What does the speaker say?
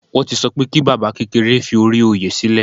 Wọn ti sọ pé kí baba kékeré fi ori oyè silẹ